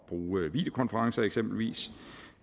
bruge videokonferencer eksempelvis